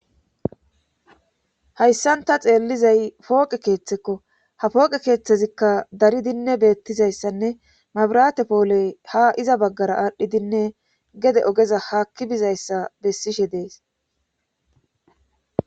Hayssan ta xeellizay pooqe keeththekko ha pooqe keeththezikka dari dinne beettizayssanne mabirate pooley ha iza baggara aadhdhi dinne gede ogeza haakki bizayssa bessishe dees.